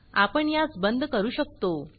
आपण यास बंद करू शकतो